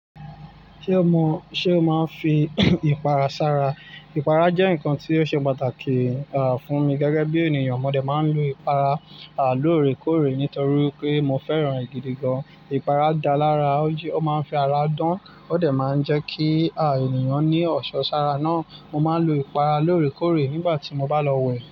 Ṣé o mọ, ṣe o máa n fi ìpara sára? Ìpara jẹ nǹkan tí ó ṣe pàtàkì, à, fún mi gẹ́gẹ́ bí ènìyàn. Mo dè máa n lo ìpara, à, lóore kóòrè nítorí pé mo fẹ́ràn àgídìgan. Ìpara dá lára, ó máa n fi ara dán, ó dè máa n jẹ kí, à, ènìyàn ní ọ̀ṣọ́ sára náà. Mo máa n lo ìpara lóore kóòrè nígbà tí mo bá lọ wẹ̀.